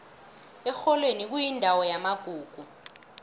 erholweni kuyindawo yamagugu